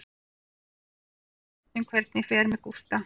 Kolur má vera hér þangað til við vitum hvernig fer með Gústa.